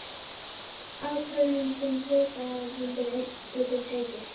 ákvörðun sem hluthafafundur einn getur tekið.